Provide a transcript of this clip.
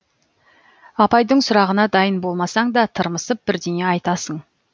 апайдың сұрағына дайын болмасаң да тырмысып бірдеңе айтасың